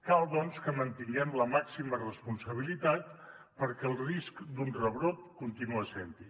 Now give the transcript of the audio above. cal doncs que mantinguem la màxima responsabilitat perquè el risc d’un rebrot continua sent hi